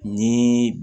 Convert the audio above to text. Ni